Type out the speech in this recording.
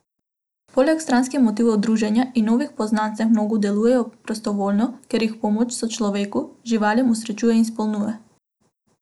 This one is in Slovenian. Poleg stranskih motivov druženja in novih poznanstev mnogi delujejo prostovoljno, ker jih pomoč sočloveku, živalim osrečuje in izpopolnjuje.